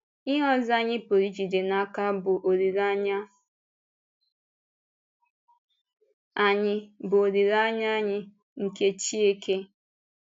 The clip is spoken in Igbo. Ihe ọzọ anyị pụrụ ijide n’aka bụ́ olileanya anyị bụ́ olileanya anyị nke Chínkè.